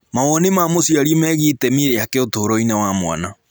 Mawoni ma mũciari megiĩ itemi rĩake ũtũũro-inĩ wa mwana.